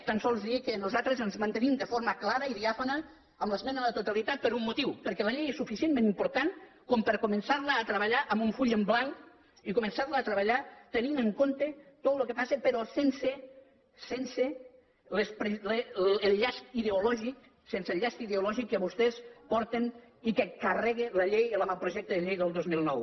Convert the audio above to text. tan sols dir que nosaltres ens mantenim de forma clara i diàfana en l’esmena a la totalitat per un motiu perquè la llei és suficientment important per a començar la a treballar amb un full en blanc i començar la a treballar tenint en compte tot el que passa però sense sense el llast ideològic sense el llast ideològic que vostès porten i que carrega la llei l’avantprojecte de llei del dos mil nou